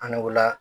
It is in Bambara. An n'o la